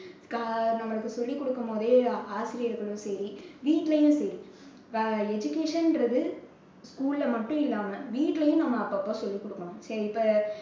கா~ நம்மளுக்கு சொல்லிக் கொடுக்கும் போதே ஆசிரியர்களும் சரி வீட்டிலயும் சரி இப்போ education ன்றது school ல மட்டும் இல்லாம வீட்லயும் நம்ப அப்பப்போ சொல்லிக் கொடுக்கணும் சரி இப்ப